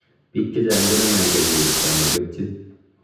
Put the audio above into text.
Biik chechang koname agenge kityo ama getchiin